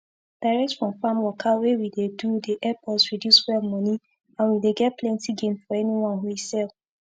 direct from farm waka wey we dey do dey epp us reduce fuel money and we dey get plenti gain for anyone we sell